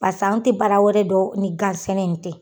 Pseke an tɛ baara wɛrɛ don ni gan sɛnɛ in tɛ.